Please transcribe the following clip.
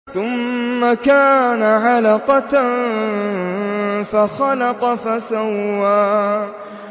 ثُمَّ كَانَ عَلَقَةً فَخَلَقَ فَسَوَّىٰ